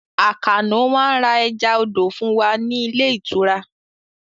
Àkànó máá ń ra ẹja odò fún wa ní ilé ìtura